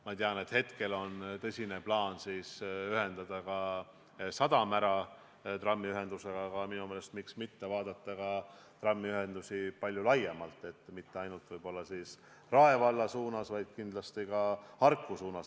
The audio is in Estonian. Ma tean, et hetkel on tõsine plaan viia trammiühendus sadamani, aga miks mitte vaadata seda palju laiemalt, et mitte ainult Rae valla suunas, vaid kindlasti ka Harku suunas.